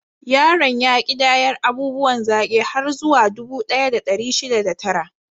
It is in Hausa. Yaron ya ƙidayar abubuwan zaki har zuwa dubu ɗaya da ɗari shida da tara.